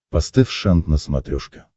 поставь шант на смотрешке